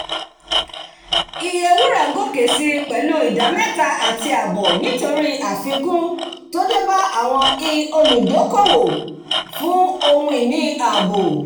iye wúrà gòkè sí pẹ̀lú ìdá méta àti àbọ̀ nítorí àfikún tó débá àwọn íolùdokoowo fún ohun-ini ààbò